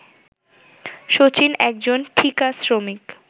শচীন একজন ‘ঠিকা শ্রমিক’